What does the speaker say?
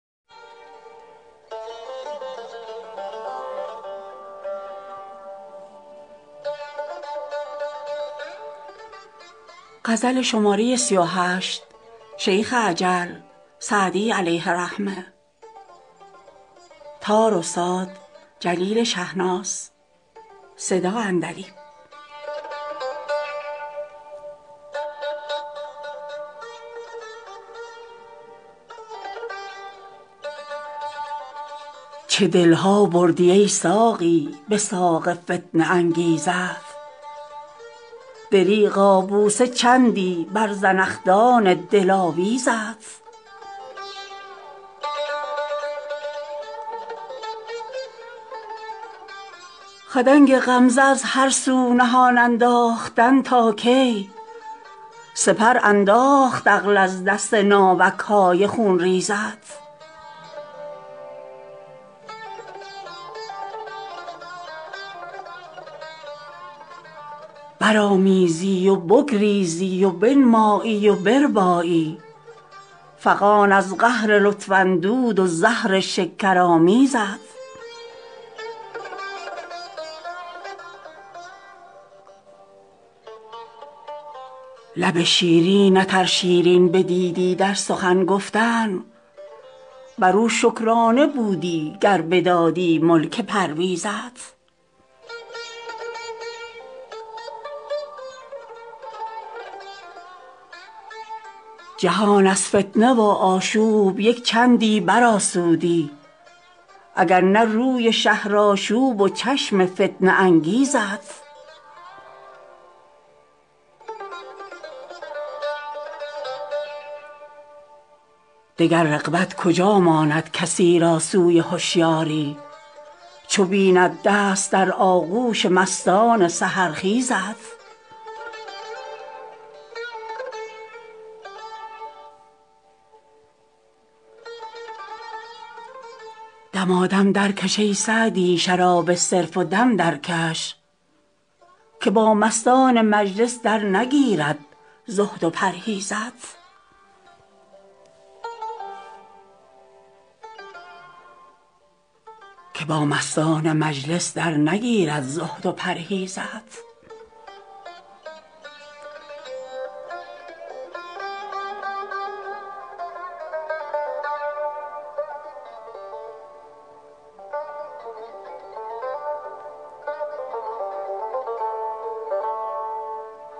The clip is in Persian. چه دل ها بردی ای ساقی به ساق فتنه انگیزت دریغا بوسه چندی بر زنخدان دلاویزت خدنگ غمزه از هر سو نهان انداختن تا کی سپر انداخت عقل از دست ناوک های خونریزت برآمیزی و بگریزی و بنمایی و بربایی فغان از قهر لطف اندود و زهر شکرآمیزت لب شیرینت ار شیرین بدیدی در سخن گفتن بر او شکرانه بودی گر بدادی ملک پرویزت جهان از فتنه و آشوب یک چندی برآسودی اگر نه روی شهرآشوب و چشم فتنه انگیزت دگر رغبت کجا ماند کسی را سوی هشیاری چو بیند دست در آغوش مستان سحرخیزت دمادم درکش ای سعدی شراب صرف و دم درکش که با مستان مجلس درنگیرد زهد و پرهیزت